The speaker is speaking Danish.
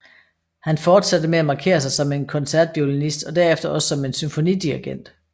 Han fortsatte med at markere sig som en koncertviolinist og derefter også som en symfonidirigent